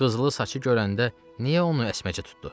Qızılı saçı görəndə niyə onu əsməcə tutdu?